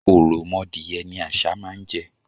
Ò̀ròmọdìẹ ni àṣá máa ń jẹ.